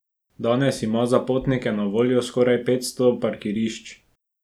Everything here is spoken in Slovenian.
Danes ima za potnike na voljo skoraj petsto parkirišč.